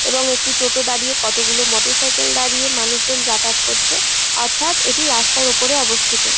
এবং একটি টোটো দাঁড়িয়ে কত গুলো মোটর সাইকেল দাঁড়িয়ে মানুষ জন যাতায়াত করছে | অর্থাত এটি রাস্তার ওপরে অবস্থিত।